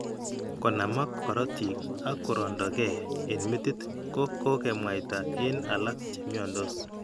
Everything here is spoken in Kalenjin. Konamak korotiik ak korondo ke eng' metit ko kkokemwaita eng' alak che mnyandos.